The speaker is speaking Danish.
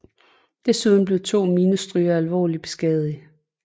Desuden blev to minestrygere alvorligt beskadigede